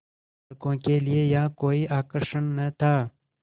लड़कों के लिए यहाँ कोई आकर्षण न था